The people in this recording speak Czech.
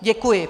Děkuji.